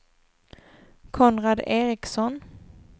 Konrad Eriksson